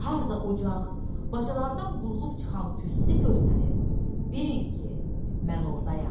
Harda ocaq, bacalardan qorulub çıxan tüstü görsəniz, bilin ki, mən ordayam.